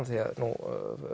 nú